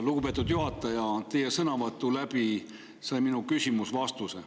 Lugupeetud juhataja, teie sõnavõtu kaudu sai minu küsimus vastuse.